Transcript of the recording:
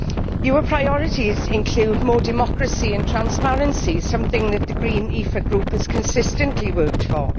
Your priorities include more democracy and transparency, something that the Verts ALE Group has consistently worked for.